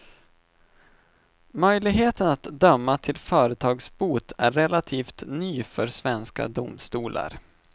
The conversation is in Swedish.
Möjligheten att döma till företagsbot är relativt ny för svenska domstolar.